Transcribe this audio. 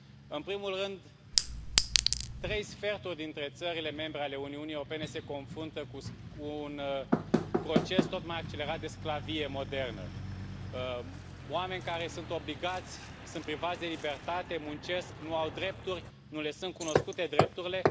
În primul rând, trei sferturi dintre țările membre ale Uniunii Europene se confruntă cu un proces tot mai accelerat de sclavie modernă oameni care sunt privați de libertate, muncesc, nu au drepturi, nu le sunt cunoscute drepturile.